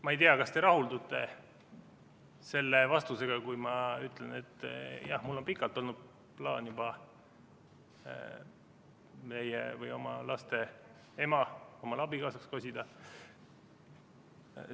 Ma ei tea, kas te rahuldute selle vastusega, kui ma ütlen, et jah, mul on juba pikalt olnud plaan oma laste ema omale abikaasaks kosida.